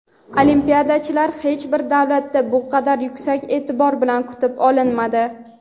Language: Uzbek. olimpiadachilar hech bir davlatda bu qadar yuksak e’tibor bilan kutib olinmadi!.